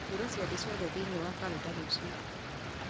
hura ciathĩ ciothe thiĩni wa karenda rũciũ